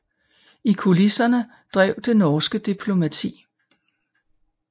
I kulisserne drev det norske diplomati